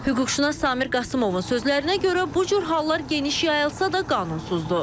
Hüquqşünas Samir Qasımovun sözlərinə görə bu cür hallar geniş yayılsada qanunsuzdur.